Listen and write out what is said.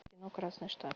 кино красный штат